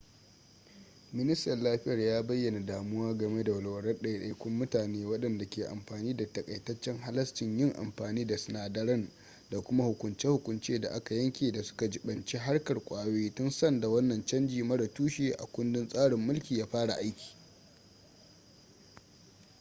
ministan lafiyar ya bayyana damuwa game da walwalar ɗaiɗaikun mutane wadanda ke amfani da takaitaccen halascin yin amfani da sinadaran da kuma hukunce-hukunce da aka yanke da suka jibanci harkar kwayoyi tun sanda wannan canji mara tushe a kundin tsarin mulki ya fara aiki